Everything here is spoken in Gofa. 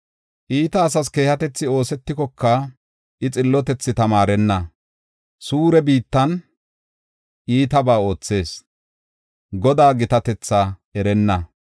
Iita asas keehatethi oosetikoka, I xillotethi tamaarenna. Suure biittan iitabaa oothees; Godaa gitatetha erenna.